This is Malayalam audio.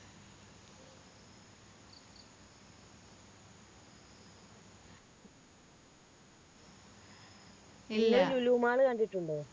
ഇല്ല ഇങ്ങള് ലുലു mall കണ്ടിട്ടുണ്ടോ